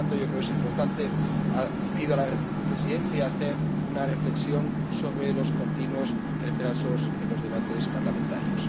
Por lo tanto, creo que es importante y pido a la Presidencia que haga una reflexión sobre los continuos retrasos en los debates parlamentarios.